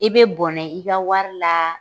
I be bɔnɛ i ka wari la